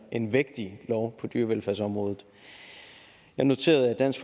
en vægtig lov på dyrevelfærdsområdet jeg noterede at dansk